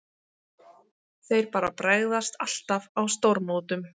Þeir bara bregðast alltaf á stórmótum.